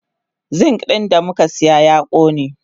Zink din damukasiya ya kone.